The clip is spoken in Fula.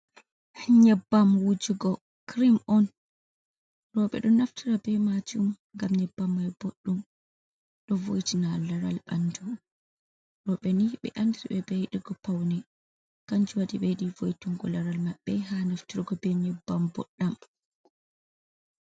Nyebbam wujugo kirim on. roɓe ɗo naftira be majum ngam nyebbam mai boɗdum ɗo voitina laral ɓandu roɓe ni ɓe andiri be yidigo paune kanju waɗi ɓe yiɗi voitingo laral maɓɓe ha naftirgo be nyebbam boɗɗam.